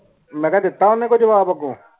ਮੈਂ ਆਖਿਆ ਦਿੱਤੋ ਕੋਈ ਓਨੀ ਜਵਾਬ ਆਗੂ